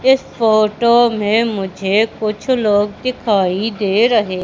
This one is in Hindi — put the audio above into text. इस फोटो में मुझे कुछ लोग दिखाई दे रहे--